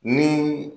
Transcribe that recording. Ni